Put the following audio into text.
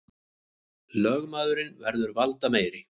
Lögmaðurinn verður valdameiri